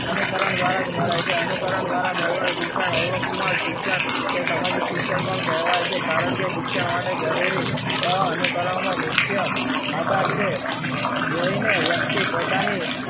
અનુકરણ દ્વારા જ મળે છે અનુકરણ દ્વારા મેળવેલ શિક્ષણ અયોગ્ય શિક્ષણ એ સામાજિક શિક્ષણ પણ કહેવાય છે. કારણ કે શિક્ષણ માટે જરૂરી એવા અનુકરણો મુખ્ય આધાર છે જઈને વ્યક્તિ પોતાની,